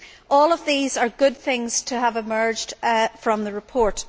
All of these are good things to have emerged from the report.